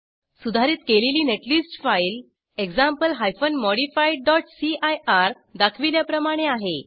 सुधारित केलेली net list file example hyphen modified dot CIR दाखविल्याप्रमाणे आहे